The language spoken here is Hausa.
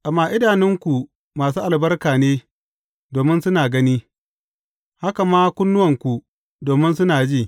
Amma idanunku masu albarka ne domin suna gani, haka ma kunnuwanku domin suna ji.